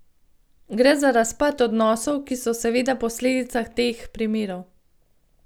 Gre za razpad odnosov, ki so seveda posledica teh primerov.